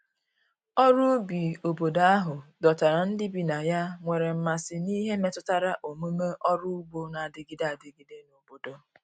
ọrụ ubi obodo ahụ dọtara ndi bi na ya nwere mmasi n'ihe metụtara omume ọrụ ụgbo n'adigide adigide n'obodo